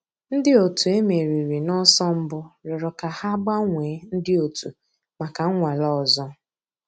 Ǹdí ọ̀tù e mèrìrì n'ọ̀sọ̀ mbù rị̀ọrọ̀ kà hà gbànwèè ńdí ọ̀tù mǎká nnwàlè òzò.